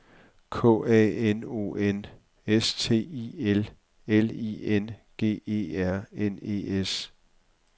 K A N O N S T I L L I N G E R N E S